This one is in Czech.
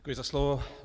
Děkuji za slovo.